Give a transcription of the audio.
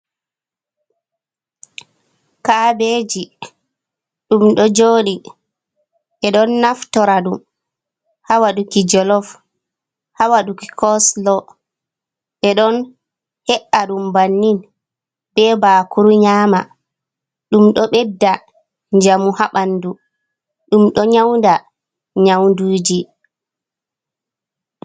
Kaabeeji, ɗum ɗo jooɗi. Ɓe ɗo naftora ɗum, ha waɗuki jollof, ha waɗuki kooloo. Ɓe ɗon he'aaɗum bannin bee baakuru nyaama. Ɗum ɗo ɓedda njamu ha ɓanndu, ɗum ɗo nyawda nyawuuji.